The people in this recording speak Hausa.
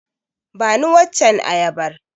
Bani waccen ayabar.